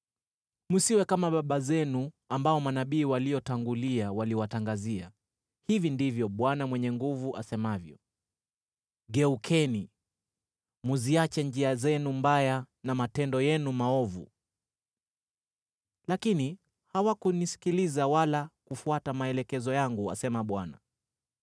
Msiwe kama baba zenu, ambao manabii waliotangulia waliwatangazia: Hivi ndivyo Bwana Mwenye Nguvu Zote asemavyo: ‘Geukeni, mziache njia zenu mbaya na matendo yenu maovu.’ Lakini hawakunisikiliza wala kufuata maelekezo yangu, asema Bwana .